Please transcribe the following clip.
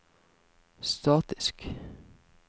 statisk